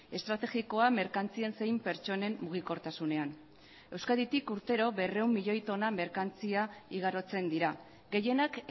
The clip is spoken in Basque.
estrategikoa merkantzien zein pertsonen mugikortasunean euskaditik urtero berrehun milioi tona merkantzia igarotzen dira gehienak